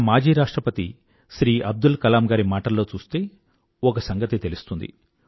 మన మాజీ రాష్ట్రపతి శ్రీ అబ్దుల్ కలాం గారి మాటల్లో చూస్తే ఒక సంగతి తెలుస్తుంది